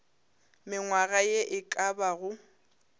mengwaga ye e ka bago